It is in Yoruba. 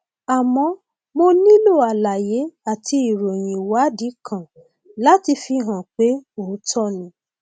àmọ mo nílò àlàyé àti ìròyìn ìwádìí kan láti fi hàn pé òótọ ni